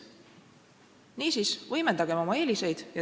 Niisiis, võimendagem oma eeliseid.